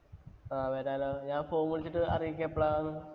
ആ വരാലോ. ഞാന്‍ phone വിളിച്ചിട്ട് അറിയിക്കാം എപ്പളാന്ന്.